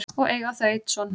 og eiga þau einn son.